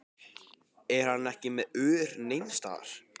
Er hann ekki með ör neins staðar?